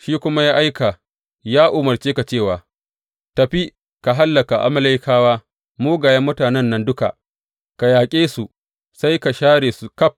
Shi kuma ya aika, ya umarce ka cewa, Tafi ka hallaka Amalekawa mugayen mutanen nan duka, ka yaƙe su sai ka share su ƙaf.’